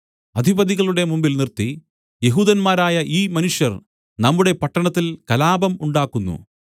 അധിപതികളുടെ മുമ്പിൽ നിർത്തി യെഹൂദന്മാരായ ഈ മനുഷ്യർ നമ്മുടെ പട്ടണത്തിൽ കലാപം ഉണ്ടാക്കുന്നു